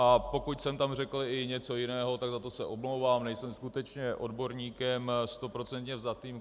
A pokud jsem tam řekl i něco jiného, tak za to se omlouvám, nejsem skutečně odborníkem stoprocentně vzatým.